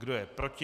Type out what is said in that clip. Kdo je proti?